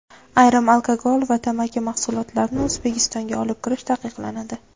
Ayrim alkogol va tamaki mahsulotlarini O‘zbekistonga olib kirish taqiqlanadi.